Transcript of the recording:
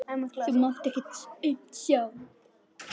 Þú máttir ekkert aumt sjá.